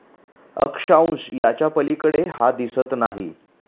अक्षांश याच्यापलीकडे हा दिसत नाही